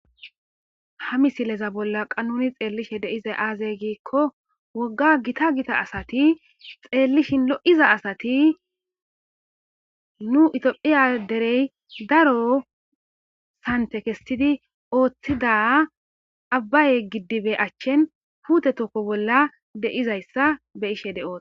ha misileza bolla qa nuni xeellishe deiza aazey giikko wogga gita gita asati xeellishin lo7iza asati nu itophiya derey daro sante kestidi ooththida abbaye giddibe achchin pute tokko bolla deizayssa be ishe de7oo